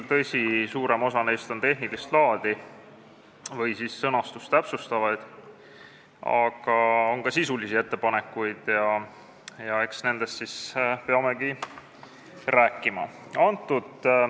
Tõsi, suurem osa neist on tehnilist laadi või sõnastust täpsustavad, aga on ka sisulisi ettepanekuid ja eks nendest peamegi rääkima.